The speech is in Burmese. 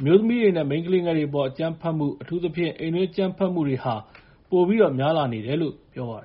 အမျိုးသမီးတွေနဲ့ မိန်းကလေးငယ်တွေအပေါ် အကြမ်းဖက်မှု အထူးသဖြင့် အိမ်တွင်းအကြမ်းဖက်မှုတွေဟာ ပိုပြီးတော့ များလာနေတယ်လို့ ပြောပါတယ်